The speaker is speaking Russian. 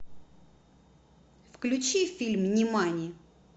включи фильм нимани